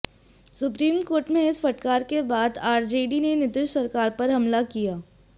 supreme court के इस फटकार के बाद आरजेडी ने नीतीश सरकार पर हमला किया है